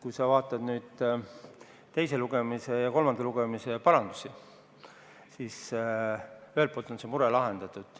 Kui sa vaatad nüüd teise lugemise ja kolmanda lugemise parandusi, siis ühelt poolt on see mure lahendatud.